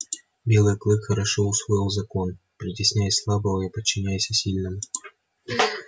белый клык хорошо усвоил закон притесняй слабого и подчиняйся сильному